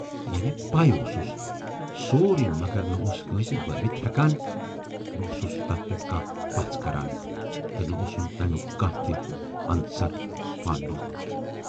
یعنے پےَ اوسُس سورُے مگر نہَ اوس کٲنسہِ بٲوِتھ ہٮ۪کان، نہٕ اوسُس تتھ پٮ۪ٹھ کانہہ پَژھ کران تہٕ نہٕ اوسُن تمیُک کانہہ تہِ عنصر پاننومُت۔